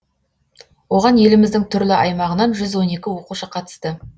оған еліміздің түрлі аймағынан жүз он екі оқушы қатысты